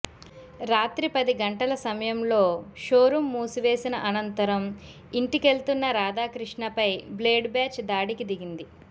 రాత్రి పది గంటల సమయంలో షోరూం మూసివేసిన అనంతరం ఇంటికెళ్తున్న రాధాక్రిష్ణపై బ్లేడ్ బ్యాచ్ దాడికి దిగింది